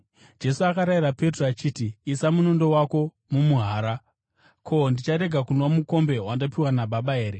Jesu akarayira Petro achiti, “Isa munondo wako mumuhara! Ko, ndicharega kunwa mukombe wandapiwa naBaba here?”